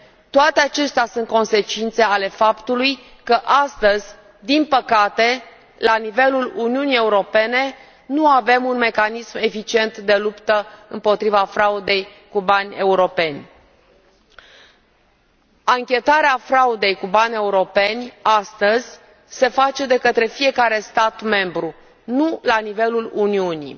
Toate acestea sunt consecințe ale faptului că astăzi, din păcate, la nivelul Uniunii Europene, nu avem un mecanism eficient de luptă împotriva fraudei cu bani europeni. Anchetarea fraudei cu bani europeni, astăzi, se face de către fiecare stat membru, nu la nivelul Uniunii.